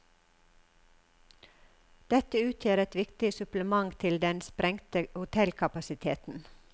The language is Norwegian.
Dette utgjør et viktig supplement til den sprengte hotellkapasiteten.